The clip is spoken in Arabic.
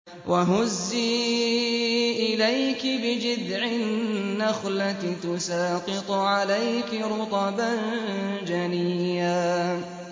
وَهُزِّي إِلَيْكِ بِجِذْعِ النَّخْلَةِ تُسَاقِطْ عَلَيْكِ رُطَبًا جَنِيًّا